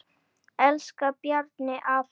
Elsku Bjarni afi.